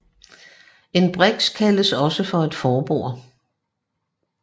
En briks kaldes også for et forbord